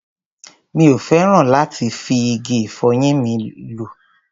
Mi ò fẹ́ràn láti máa fi igi ìfọyín mi lọ́.